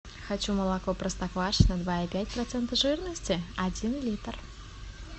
хочу молоко простоквашино два и пять процента жирности один литр